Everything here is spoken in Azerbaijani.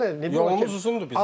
Biz hələ yox, yolumuz uzundur.